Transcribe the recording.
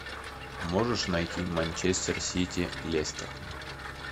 можешь найти манчестер сити лестер